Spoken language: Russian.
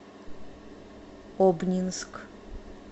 обнинск